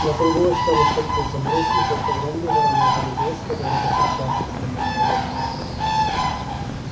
на кругу остались только изумруд и тот огромный вороной жеребец который повстречался с ним на проездке